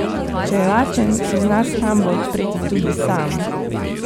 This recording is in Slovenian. Če je lačen, si zna shrambo odpreti tudi sam.